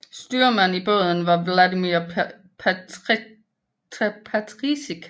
Styrmand i båden var Vladimír Petříček